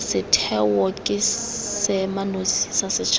setheo ke seemanosi sa setšhaba